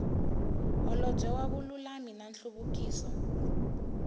holobye wa vululami na nhluvukiso